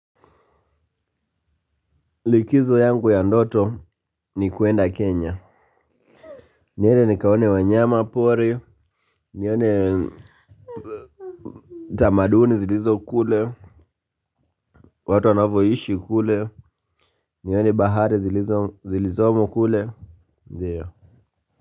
Likizo yangu ya ndoto ni kuenda kenya niede nikaone wanyama pori nione tamaduni zilizo kule watu wanavoishi kule nione bahare zilizomo kule ndio.